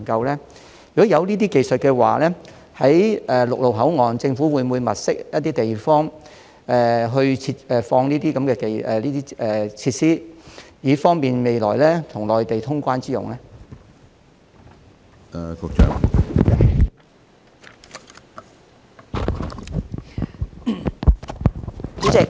如果確有這些技術，政府會否在陸路口岸物色地方設置相關設施，以便未來與內地通關之用？